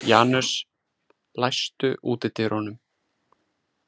Janus, læstu útidyrunum.